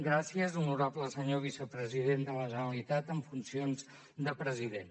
gràcies honorable senyor vicepresident de la generalitat en funcions de president